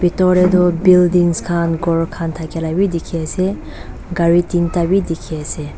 bethor te tu building khan gour khan thaki laga khan bhi dekhi ase gari tinta bhi dekhi ase.